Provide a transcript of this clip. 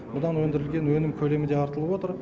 бұдан өндірілген өнім көлемі де артылып отыр